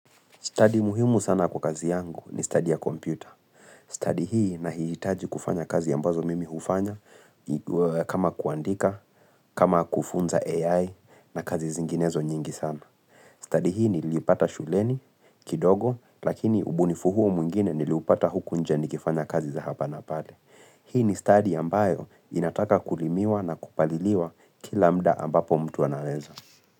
Stadi muhimu sana kwa kazi yangu ni stadi ya kompyuta. Stadi hii naihitaji kufanya kazi ambazo mimi hufanya kama kuandika, kama kufunza AI na kazi zinginezo nyingi sana. Stadi hii niliipata shuleni kidogo lakini ubunifu huu mwingine niliupata huku nje nikifanya kazi za hapa na pale. Hii ni stadi ambayo inataka kulimiwa na kupaliliwa kila muda ambapo mtu anaweza.